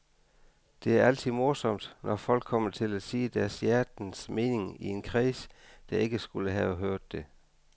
Det er altid morsomt, når folk kommer til at sige deres hjertens mening i en kreds, der ikke skulle have hørt det.